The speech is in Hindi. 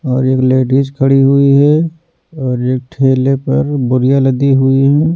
और एक लेडिस खड़ी हुई है और एक ठेले पर बोरिया लदी हुई है।